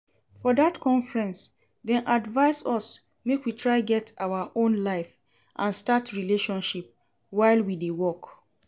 For dat conference, dem advise us make we try get our own life and start relationship while we dey work